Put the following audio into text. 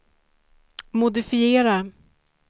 modifiera